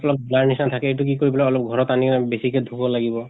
অলপ blur নিছিনা থাকে , এইটো কি কৰিব লাগে অলপ ঘৰত আনি বেছিকে ধুব লাগিব।